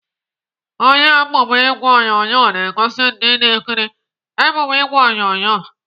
Onye emume ìgwè onyonyo na-egosi ndị na-ekiri emume ìgwè onyonyo